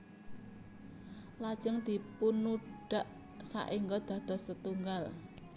Lajeng dipunudhak saéngga dados setunggal